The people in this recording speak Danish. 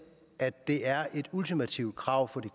at det er et ultimativt krav fra de